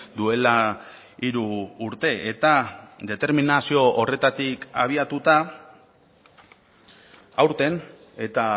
duela hiru urte eta determinazio horretatik abiatuta aurten eta